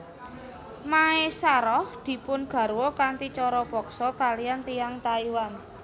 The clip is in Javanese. Maesaroh dipun garwa kanthi cara paksa kaliyan tiyang Taiwan